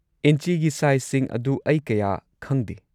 ꯏꯟꯆꯤꯒꯤ ꯁꯥꯏꯖꯁꯤꯡ ꯑꯗꯨ ꯑꯩ ꯀꯌꯥ ꯈꯪꯗꯦ꯫